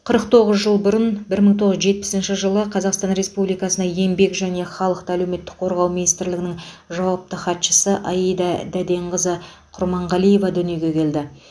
қырық тоғыз жыл бұрын бір мың тоғыз жүз жетпісінші жылы қазасқтан республикасына еңбек және халықты әлеуметік қорғау министрлігінің жауапты хатшысы аида дәденқызы құрманғалиева дүниеге келді